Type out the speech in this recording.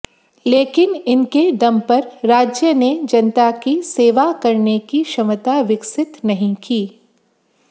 लेकिन इनके दम पर राज्य ने जनता की सेवा करने की क्षमता विकसित नहीं की